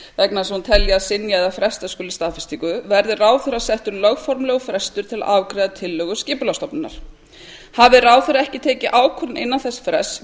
vegna þess að hún telji að synja eða fresta skuli staðfestingu verði ráðherra settur lögformlegur frestur til að afgreiða tillögu skipulagsstofnunar hafi ráðherra ekki tekið ákvörðun innan þess frests